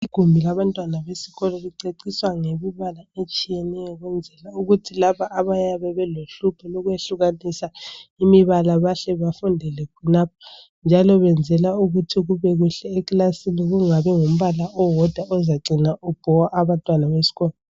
Igumbi labantwana besikolo liceciswa ngemibalala etshiyeneyo ukuthi laba abayabe belohlupho lokwehlukanisa imibala bahle bafundele khonapho njalo beenzelwa ukuthi kubekuhle ekilasini kungabi ngumbala owodwa ozacina ubhowa abantwana besikolo,